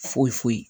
Foyi foyi